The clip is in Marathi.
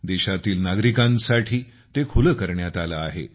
देशातील नागरिकांसाठी ते खुले करण्यात आले आहे